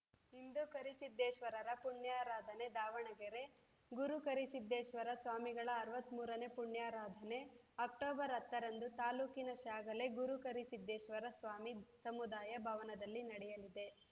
ಇಂದು ಕರಿಸಿದ್ದೇಶ್ವರರ ಪುಣ್ಯಾರಾಧನೆ ದಾವಣಗೆರೆ ಗುರು ಕರಿಸಿದ್ದೇಶ್ವರ ಸ್ವಾಮಿಗಳ ಅರವತ್ತ್ ಮೂರನೇ ಪುಣ್ಯಾರಾಧನೆ ಅಕ್ಟೋಬರ್ ಹತ್ತರಂದು ತಾಲೂಕಿನ ಶ್ಯಾಗಲೆ ಗುರುಕರಿಸಿದ್ದೇಶ್ವರ ಸ್ವಾಮಿ ಸಮುದಾಯ ಭವನದಲ್ಲಿ ನಡೆಯಲಿದೆ